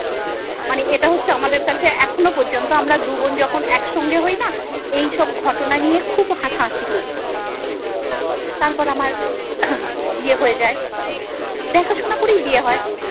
মানে এটা হচ্ছে আমাদের কাছে এখনো পর্যন্ত আমরা দুবোন যখন একসঙ্গে হইনা, এই সব ঘটনা নিয়ে খুব হাসাহাসি করি। তারপর আমার বিয়ে হয়ে যায়। দেখাশোনা করেই বিয়ে হয়।